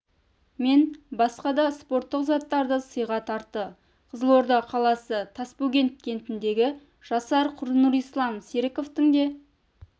мен басқа да спорттық заттарды сыйға тартты қызылорда қаласы тасбөгент кентіндегі жасар нұрислам серіковтің де